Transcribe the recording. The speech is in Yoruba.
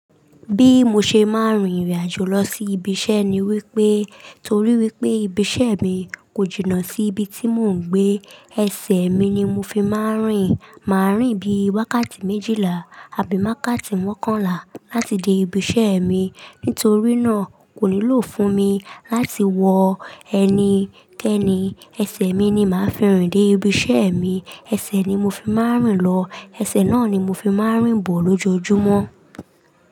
Bí mo ṣe máa ń rìnrìn àjò lọ sí ibi iṣẹ́ ni wípé torí wípé ibi iṣẹ́ mi kò jìnnà sí ibi tí mò ń gbé, ẹsẹ̀ mi ni mo fi máa ń rìn. Mà á rìn bí wákàtí méjìlá àbí wákàtí mọ́kànlá láti dé ibi iṣẹ́ mi. Nítorí náà kò nílò fún mi láti wọ ẹni kéni, ẹsẹ̀ mi ni mà á fi rìn dé ibi iṣẹ́ mi. Ẹsẹ̀ ni mo fi máa ń rìn lọ. Ẹsẹ̀ náà ni mo fi máa ń rìn bọ̀ lójoojúmọ́.